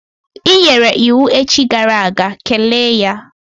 I nyere iwu echi gara aga, kelee ya!